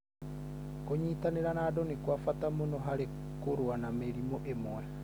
Kũnyitanĩra na andũ nĩ kwa bata mũno harĩ kũrũa na mĩrimũ ĩmwe.